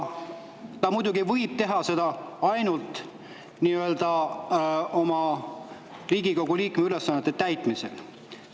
Ta muidugi võib teha seda ainult Riigikogu liikme ülesannete täitmisel.